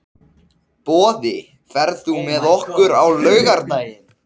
Boði, ferð þú með okkur á laugardaginn?